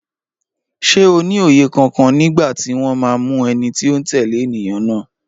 Ṣé o ní òye kankan nígbà tí wọ́n máa mú ẹni tó ń tẹ̀lé ènìyàn náà?